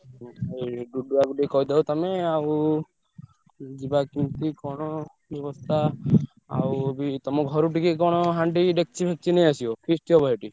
ଡୁଡୁଆ କୁ ଟିକେ କହିଦବ ତମେ ଆଉ ଯିବା କୋଉଠି କଣ ବ୍ୟବସ୍ଥା ଆଉ ବି ତମ ଘରୁ ଟିକେ କଣ ହାଣ୍ଡି ଡେକଚି ଫେକଚି ସବୁ ନେଇଆସିବ feast ହବ ସେଠି।